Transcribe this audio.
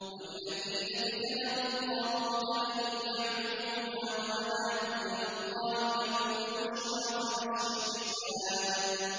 وَالَّذِينَ اجْتَنَبُوا الطَّاغُوتَ أَن يَعْبُدُوهَا وَأَنَابُوا إِلَى اللَّهِ لَهُمُ الْبُشْرَىٰ ۚ فَبَشِّرْ عِبَادِ